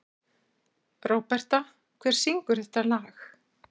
Róberta, hver syngur þetta lag?